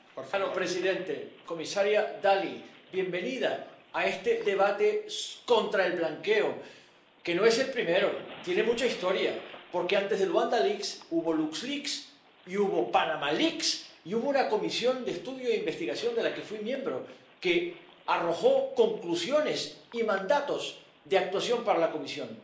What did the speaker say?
Señor presidente, comisaria Dalli, bienvenida a este debate contra el blanqueo, que no es el primero, tiene mucha historia, porque antes de Luanda Leaks hubo Lux Leaks y hubo Panamá Leaks, y hubo una comisión de estudio e investigación, de la que fui miembro, que arrojó conclusiones y mandatos de actuación para la Comisión.